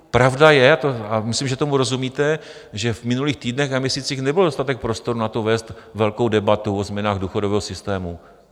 Pravda je, a myslím, že tomu rozumíte, že v minulých týdnech a měsících nebyl dostatek prostoru na to vést velkou debatu o změnách důchodového systému.